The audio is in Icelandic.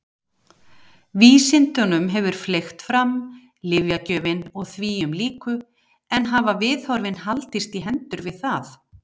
Vísindunum hefur fleygt fram, lyfjagjöfin og þvíumlíku en hafa viðhorfin haldist í hendur við það?